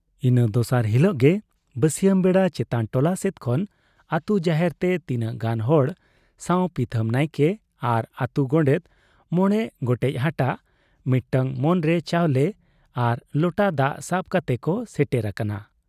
ᱤᱱᱟᱹ ᱫᱚᱥᱟᱨ ᱦᱤᱞᱳᱜ ᱜᱮ ᱵᱟᱹᱥᱭᱟᱹᱢ ᱵᱮᱲᱟ ᱪᱮᱛᱟᱱ ᱴᱚᱞᱟ ᱥᱮᱫ ᱠᱷᱚᱱ ᱟᱹᱛᱩ ᱡᱟᱦᱮᱨ ᱛᱮ ᱛᱤᱱᱟᱹᱜ ᱜᱟᱱ ᱦᱚᱲ ᱥᱟᱶ ᱯᱤᱛᱷᱟᱹᱢ ᱱᱟᱭᱠᱮ ᱟᱨ ᱟᱹᱛᱩ ᱜᱳᱰᱮᱛ ᱢᱚᱬᱮ ᱜᱚᱴᱮᱡ ᱦᱟᱴᱟᱜ, ᱢᱤᱫᱴᱟᱹᱝ ᱢᱟᱱᱨᱮ ᱪᱟᱣᱞᱮ ᱟᱨ ᱞᱚᱴᱟ ᱫᱟᱜ ᱥᱟᱵ ᱠᱟᱛᱮ ᱠᱚ ᱥᱮᱴᱮᱨ ᱟᱠᱟᱱᱟ ᱾